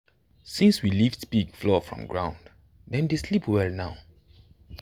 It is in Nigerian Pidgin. since we lift pig floor from ground dem dey dem dey sleep well now.